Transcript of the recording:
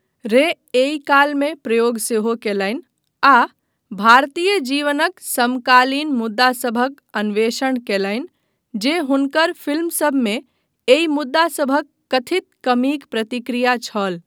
रे एहि कालमे प्रयोग सेहो कयलनि आ भारतीय जीवनक समकालीन मुद्दासभक अन्वेषण कयलनि जे हुनकर फिल्मसभमे एहि मुद्दासभक कथित कमीक प्रतिक्रिया छल।